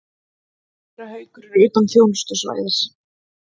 Séra Haukur er utan þjónustusvæðis.